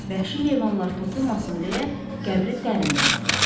Vəhşi heyvanlar toxunmasın deyə qəbri dərin qazdılar.